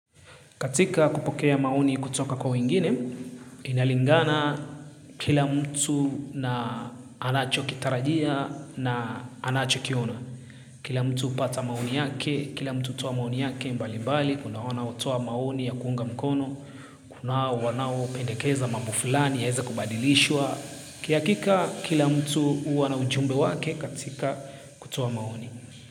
Katika kupokea maoni kutoka kwa wengine, inalingana kila mtu na anachokitarajia na anachokiona. Kila mtu hupata maoni yake, kila mtu hutoa maoni yake mbalimbali, kuna wanaotoa maoni ya kuunga mkono, kuna wanaopendekeza mambo fulani yaweze kubadilishwa. Kihakika kila mtu huwa anaujumbe wake katika kutoa maoni.